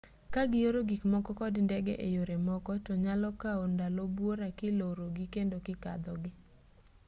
kagioro gikmoko kod ndege eyore moko to nyalo kawo ndalo buora kilorogii kendo kikadhogii